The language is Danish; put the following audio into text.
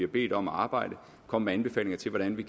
bedt om at arbejde og komme med anbefalinger til hvordan vi